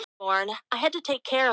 Maggi